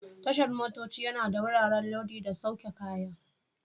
Tashar motoci yana da wuraren lodi da sauke kaya.